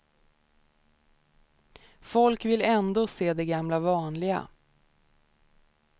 Folk vill ändå se det gamla vanliga.